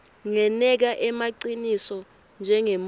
ngeneka emaciniso njengemuntfu